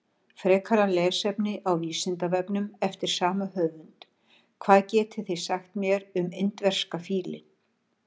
Frekara lesefni á Vísindavefnum eftir sama höfund: Hvað getið þið sagt mér um indverska fílinn?